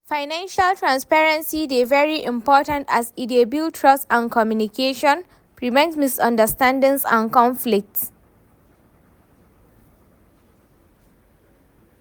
financial transparency dey very important as e dey build trust and communication, prevent misunderstandings and conflicts.